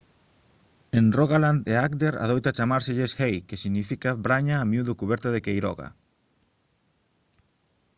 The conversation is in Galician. en rogaland e agder adoita chamárselles «hei» que significa braña a miúdo cuberta de queiroga